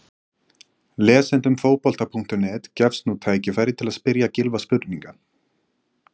Lesendum Fótbolta.net gefst nú tækifæri til að spyrja Gylfa spurninga.